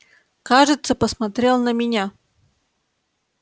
кажется посмотрел на меня